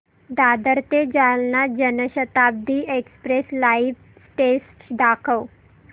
दादर ते Jalna Janshatabdi express live status दाखव